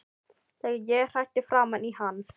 Þegar ég hrækti framan í hann.